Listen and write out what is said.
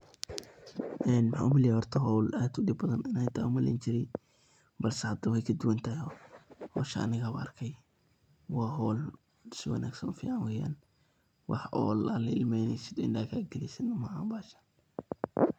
Maxan u maleyni jiraa howl aad u dib badan iney tahay ayan u maleyni jiraay balse hada way kaduwantahay. Howsha aniga anu arkay waa howl si wanagsan u fican weyan, wax howl oo la ilmeneso oo indhaha kagelyso maahan bahashan.